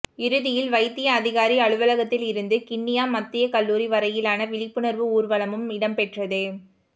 இறுதியில் வைத்திய அதிகாரி அலுவலகத்திலிருந்து கிண்ணியா மத்திய கல்லூரி வரையிலான விழிப்புணர்வு ஊர்வலமும் இடம்பெற்றது